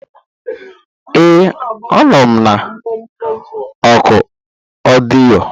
Ee, a nọ m na oku ọdịyo.